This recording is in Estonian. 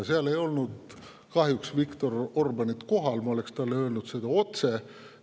Seal ei olnud kahjuks Viktor Orbáni kohal, ma oleks talle seda muidu otse öelnud.